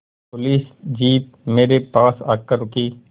police jeep मेरे पास आकर रुकी